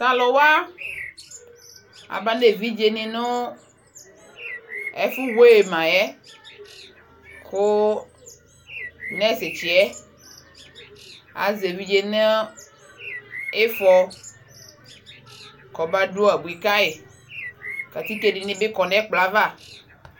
tʋ alʋ wa aba nʋ ɛvidzɛ ni nʋ ɛƒʋ weigh ma yɛ kʋ nurse kyiɛ azɛ ɛvidzɛ nʋ iƒɔ kʋ aba dʋ abʋi kayi, atikè dini bi kɔnʋ ɛkplɔɛ aɣa.